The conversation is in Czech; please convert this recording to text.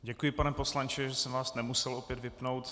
Děkuji, pane poslanče, že jsem vás nemusel opět vypnout.